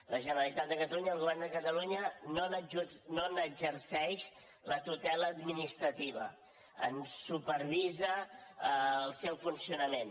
la generalitat de catalunya el govern de catalunya no n’exerceix la tutela administrativa en supervisa el seu funcionament